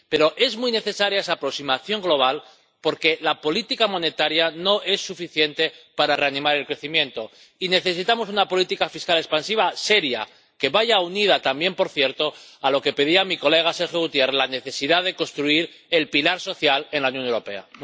Pero es muy necesaria esa aproximación global porque la política monetaria no es suficiente para reanimar el crecimiento, y necesitamos una política fiscal expansiva seria, que vaya unida también, por cierto, a lo que pedía mi colega Sergio Gutiérrez la necesidad de construir el pilar social en la Unión Europea.